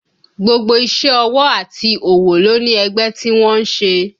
Gbogbo iṣẹ́ ọwọ́ àti òwò ló ní ẹgbẹ́ tí wọ́n ń ṣe